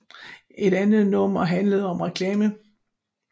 Et andet nummer handlede om reklame